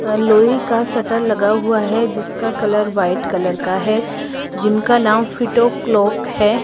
लोहे का शटर लगा हुआ है जिसका कलर व्हाइट कलर का है जिम का नाम फिट ओ क्लॉक है।